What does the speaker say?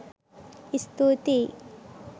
ස්තුතියි!